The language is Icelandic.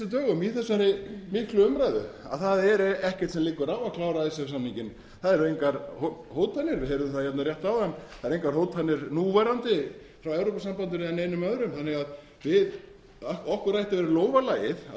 dögum í þessari miklu umræðu að það er ekkert sem liggur á að klára icesave samninginn það eru engar hótanir við heyrðum það rétt áðan það eru engar hótanir núverandi frá evrópusambandinu eða neinum öðrum þannig að okkur ætti að vera í lófa lagið að